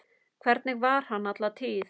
Þannig var hann alla tíð.